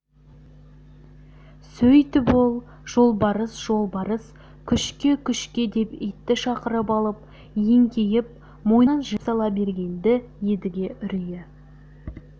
сөйтіп ол жолбарыс жолбарыс күшке-күшке деп итті шақырып алып еңкейіп мойнына жіп сала берген-ді едіге үрейі